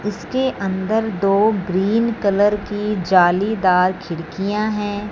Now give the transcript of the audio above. इसके अंदर दो ग्रीन कलर की जालीदार खिड़कियां हैं।